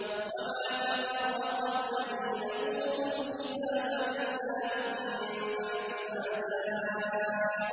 وَمَا تَفَرَّقَ الَّذِينَ أُوتُوا الْكِتَابَ إِلَّا مِن بَعْدِ مَا